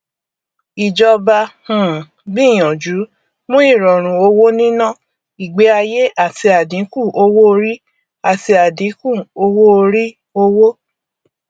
ìjọba um gbìyànjú mú ìrọrùn owóníná ìgbéayé àti àdínkù owóorí àti àdínkù owóorí òwò